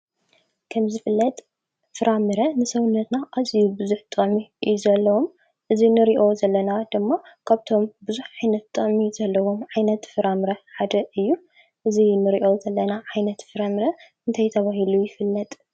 ከም ዝፍለጥ ፍራምረ ንሰውነትና ኣዝዩ ብዙሕ ጥቕሚ እዩ ዘለዎ፡፡ እዚ ንሪኦ ዘለና ድማ ካብቶም ብዙሕ ዓይነት ጥቕሚ ዘለዎም ዓይነት ፍራምረ ሓደ እዩ፡፡ እዚ ንሪኦ ዘለና ዓይነት ፍራምረ እንታይ ተባሂሉ ይፍለጥ?